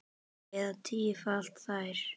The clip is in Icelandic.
Eða tífalda þær.